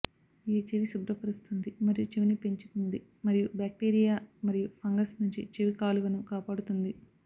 ఇది చెవి శుభ్రపరుస్తుంది మరియు చెవిని పెంచుతుంది మరియు బాక్టీరియా మరియు ఫంగస్ నుండి చెవి కాలువను కాపాడుతుంది